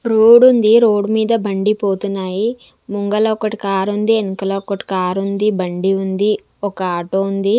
Road ఉంది road మీద బండి పోతున్నాయి ముంగల ఒకటి కార్ ఉంది వెనకల ఒకటి కార్ ఉంది బండి ఉంది ఒక ఆటో ఉంది.